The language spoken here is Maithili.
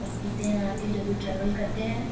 सब पीते हैं जो ट्रैवल करते हैं।